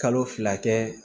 Kalo fila kɛ